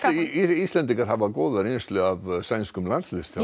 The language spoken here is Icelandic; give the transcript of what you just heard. Íslendingar hafa góða reynslu af sænskum landsliðsþjálfara